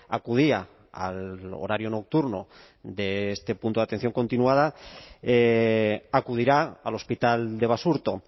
acudía al horario nocturno de este punto de atención continuada acudirá al hospital de basurto